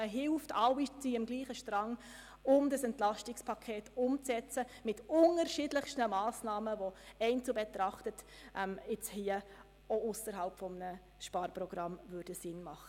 Man hilft einander, ein EP mit unterschiedlichsten Massnahmen umzusetzen, welche einzeln betrachtet auch ausserhalb eines Sparpaket sinnvoll wären.